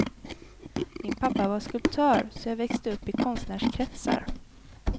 Min pappa var skulptör så jag växte upp i konstnärskretsar.